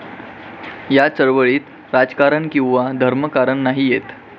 या चळवळीत राजकारण किंवा धर्मकारण येत नाही.